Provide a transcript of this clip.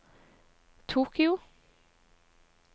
Tokyo